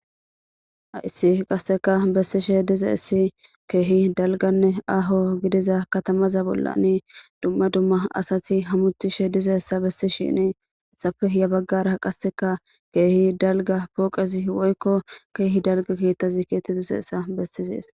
aissi qasseka bessishe diza issi keehi dalganne aho gidiza katamaza bolla ni dumma dumma asati hamutishe dizaessa bessi shinii issafe ya baggara qasseka keehi dalga pooqezi woykko keehi dalga keettazi keettiduseessa bestizees